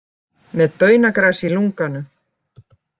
Með baunagras í lunganu